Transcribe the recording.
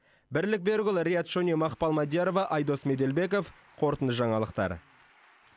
бірлік берікұлы риат шони мақпал мадиярова айдос меделбеков қорытынды жаңалықтар